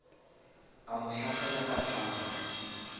a mo hlasela ka panga